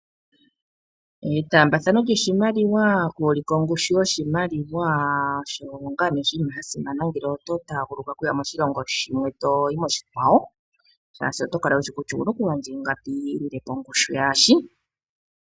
Etaambathano lyoshimaliwa okulila ongushu yoshimaliwa osho ngaa nee oshinima sha simana ngele oto taaguluka okuya moshilongo shimwe toyi moshikwawo, shaashi oto kala wushi kutya owuna oku gandja iingapi yilile po ongushu yasho.